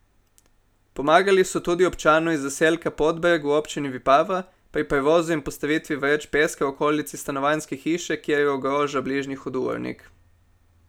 Pomagali so tudi občanu iz zaselka Podbreg v občini Vipava pri prevozu in postavitvi vreč peska v okolici stanovanjske hiše, ker jo ogroža bližnji hudournik.